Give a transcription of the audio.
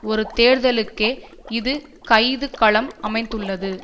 ஒரு தேர்தலுக்கே இது கைது களம் அமைத்துள்ளது